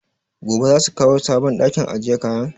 Gobe za su kawo sabon ɗakin ajiye kayan?